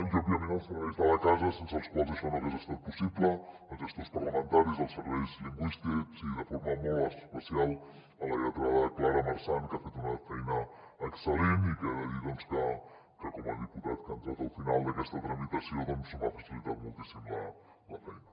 i òbviament als serveis de la casa sense els quals això no hagués estat possible als gestors parlamentaris als serveis lingüístics i de forma molt especial a la lletrada clara marsan que ha fet una feina excel·lent i que he de dir que com a diputat que ha entrat al final d’aquesta tramitació m’ha facilitat moltíssim la feina